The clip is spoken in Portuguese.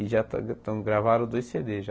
E já tão tão gravaram dois cê dê já.